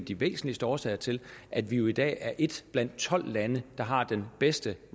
af de væsentligste årsager til at vi jo i dag er blandt de tolv lande der har den bedste